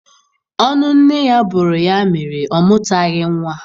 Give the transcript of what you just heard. Ọnụ nne ya bụrụ ya mere ọ mụtaghị nwa.